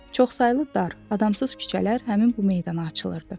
Çoxsaylı dar, adamsız küçələr həmin bu meydana açılırdı.